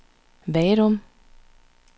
Vadum